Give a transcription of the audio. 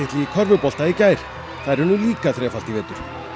í körfubolta í gær þær unnu líka þrefalt í vetur